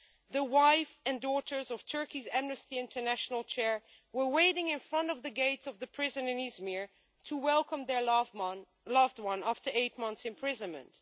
The wife and daughters of Turkey's Amnesty International Chair were waiting in front of the gates of the prison in Izmir to welcome their loved one after eight months' imprisonment.